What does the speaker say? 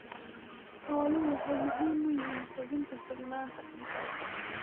Xooluhu waxay muhiim u yihiin hubinta sugnaanta cuntada.